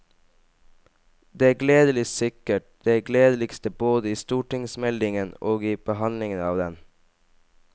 Det er gledelig, sikkert det gledeligste både i stortingsmeldingen og i behandlingen av den.